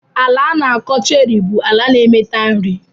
Ala ana akọ cherry bu ala na emeta nri.